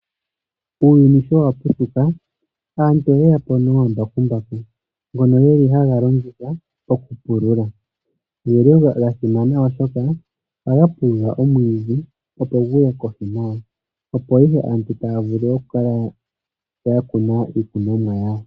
Uuyuni shawa putuka aantu oyeyapo nomambakumbaku ngono gelihaga longithwa okupulula. Ogeli ga simana ohaga pulula omwiidhi opo ihe aantu taya vulu okukala ya kuna iikunomwa yawo.